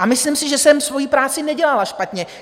A myslím si, že jsem svoji práci nedělala špatně.